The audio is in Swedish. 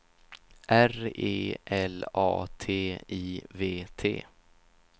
R E L A T I V T